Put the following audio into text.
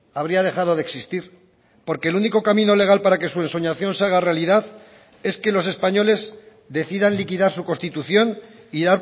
habría dejado de existir porque el único camino legal para que su ensoñación se haga realidad es que los españoles decidan liquidar su constitución y